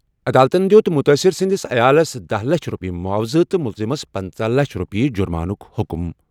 عدالتَن دِیُت مُتٲثِر سٕنٛدِس عیالَس دہَ لچھ رۄپیہِ معاوضہٕ تہٕ مُلزِمس پٕنژٕہ لَچھ رۄپیہِ جُرمانُک حُکُم۔